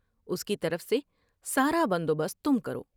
اس کی طرف سے سارا بندوبست تم کرو ''